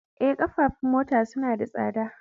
Eh, ƙafafun mota suna da tsada